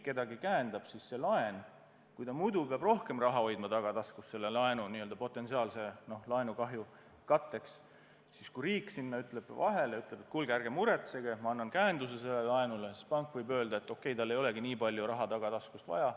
Vaadake, pankadel on ju nii, et kui nad muidu peavad rohkem raha hoidma tagataskus potentsiaalsete laenukahjude katteks, siis kui riik ütleb sinna vahele, et kuulge, ärge muretsege, ma annan käenduse sellele laenule, siis pank võib mõelda, et okei, mul ei olegi nii palju raha tagataskus vaja.